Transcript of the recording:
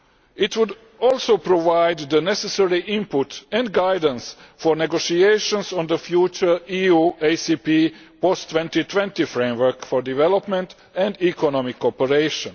It would also provide the necessary input and guidance for negotiations on the future EU ACP post 2020 framework for development and economic cooperation.